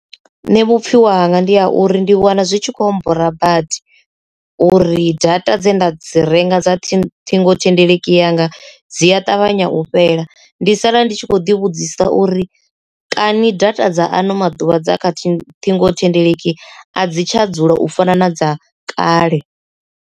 Nṋe pfhiwa hanga ndi ha uri ndi wana zwi tshi kho mmbora badi uri data dzine nda dzi renga dza ṱhingothendeleki yanga dzi a ṱavhanya u fhela ndi sala ndi tshi kho ḓi vhudzisa uri kani data dza ano maḓuvha dza kha ṱhingothendeleki a dzi tsha dzula u fana na dza kale.